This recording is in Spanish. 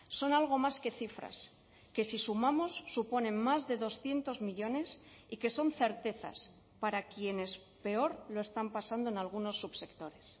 son algo más que cifras que si sumamos suponen más de doscientos millónes y que son certezas para quienes peor lo están pasando en algunos subsectores